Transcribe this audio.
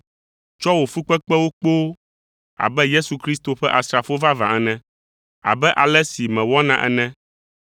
Tsɔ wò fukpekpewo kpoo abe Yesu Kristo ƒe asrafo vavã ene, abe ale si mewɔna ene,